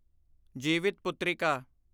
Jivitputrika